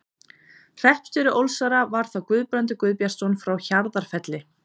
Hreppstjóri Ólsara var þá Guðbrandur Guðbjartsson frá Hjarðarfelli.